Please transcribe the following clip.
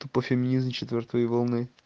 это по фигни из за четвёртой волны